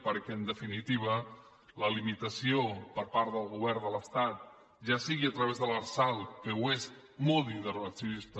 perquè en definitiva la limitació per part del govern de l’estat ja sigui a través de l’arsal que ho és molt d’intervencionista